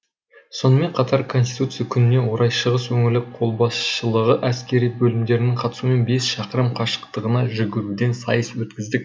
сонымен қатар конституция күніне орай шығыс өңірлік қолбасшылығы әскери бөлімдерінің қатысуымен бес шақырым қашықтығына жүгіруден сайыс өткіздік